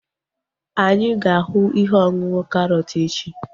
Anyị ga-ahu ihe ọṅụṅụ karọt echi